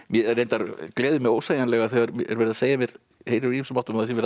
reyndar gleður mig ósegjanlega þegar verið er að segja mér úr hinum ýmsu áttum að verið